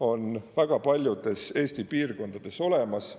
on väga paljudes Eesti piirkondades olemas.